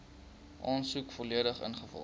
aansoek volledig ingevul